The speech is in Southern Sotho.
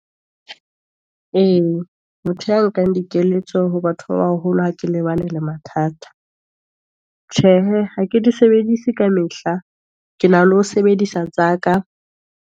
E, motho ya nkang dikeletso ho batho ba baholo, ha ke lebane le mathata, tjhehe, ha ke di sebedise ka mehla, ke na le ho sebedisa tsa ka.